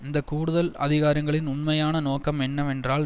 இந்த கூடுதல் அதிகாரங்களின் உண்மையான நோக்கம் என்னவென்றால்